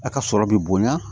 A ka sɔrɔ bi bonya